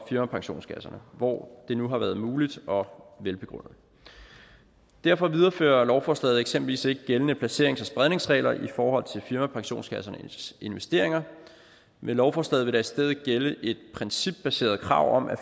firmapensionskasserne hvor det nu har været muligt og velbegrundet derfor viderefører lovforslaget eksempelvis ikke gældende placerings og spredningsregler i forhold til firmapensionskassernes investeringer med lovforslaget vil stedet gælde et principbaseret krav om at